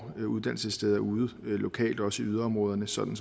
uddannelsessteder ude lokalt også i yderområderne sådan